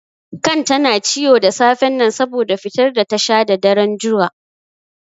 Kan ta na ciwo da safen nan saboda fitar da ta sha da daren juya.